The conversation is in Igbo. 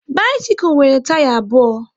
Bisikul nwere taya abụọ